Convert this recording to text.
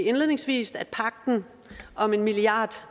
indledningsvis at pagten om en milliard